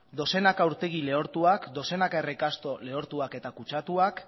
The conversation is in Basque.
dozenaka urtegi lehortuak dozenaka errekasto lehortuak eta kutsatuak